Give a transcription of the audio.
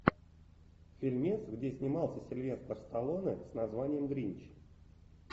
фильмец где снимался сильвестр сталлоне с названием гринч